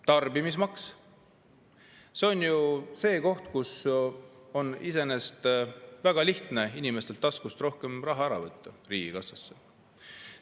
Tarbimismaks – see on ju see, millega on iseenesest väga lihtne inimeste taskust rohkem raha riigikassasse ära võtta.